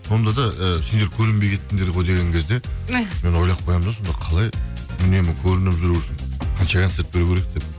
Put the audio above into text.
сонда да і сендер көрінбей кеттіңдер ғой деген кезде мен ойлап қоямын да сонда қалай үнемі көрініп жүру үшін қанша концерт беру керек деп